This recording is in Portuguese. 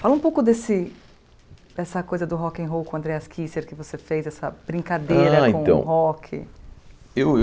Fala um pouco desse dessa coisa do rock'n'roll com o Andréas kisser que você fez, essa brincadeira Ah então Com o rock Eu eu.